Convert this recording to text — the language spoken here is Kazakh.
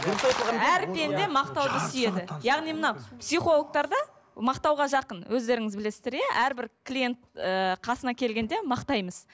әр пенде мақтауды сүйеді яғни мынау психологтарда мақтауға жақын өздеріңіз білесіздер иә әрбір клиент ыыы қасына келгенде мақтаймыз